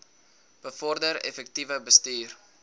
bevorder effektiewe bestuur